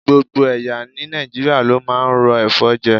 Gbogbo ẹ̀yà ní Nàìjíríà ló máa ń ro ẹ̀fọ́ jẹ.